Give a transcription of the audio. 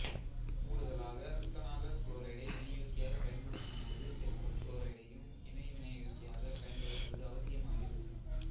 கூடுதலாக துத்தநாகக் குளோரைடை வினையூக்கியாக பயன்படுத்தும்போது செப்புக் குளோரைடையும் இணை வினையூக்கியாகப் பயன்படுத்துவது அவசியமாகிறது